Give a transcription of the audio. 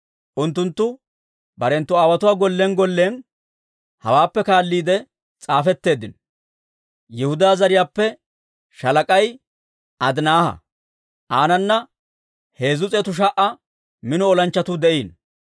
Unttunttu barenttu aawotuwaa gollen gollen hawaappe kaalliide s'aafetteeddino. Yihudaa zariyaappe shaalak'ay Adinaaha; aanana 300,000 mino olanchchatuu de'iino.